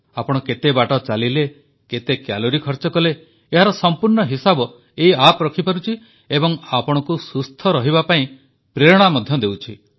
ଆପଣ କେତେ ବାଟ ଚାଲିଲେ କେତେ କ୍ୟାଲୋରୀ ଖର୍ଚ୍ଚ କଲେ ଏହାର ସମ୍ପୂର୍ଣ୍ଣ ହିସାବ ଏହି ଆପ୍ ରଖିପାରୁଛି ଏବଂ ଆପଣଙ୍କୁ ସୁସ୍ଥ ରହିବା ପାଇଁ ପ୍ରେରଣା ମଧ୍ୟ ଦେଉଛି